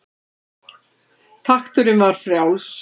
Takturinn var frjáls.